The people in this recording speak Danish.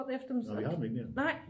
Nej vi har dem ikke mere